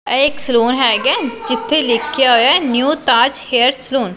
ਇਹ ਇੱਕ ਸਲੂਨ ਹੈਗਾ ਜਿੱਥੇ ਲਿਖਿਆ ਹੋਇਆ ਹੈ ਨਿਊ ਤਾਜ ਹੇਅਰ ਸਲੂਨ ।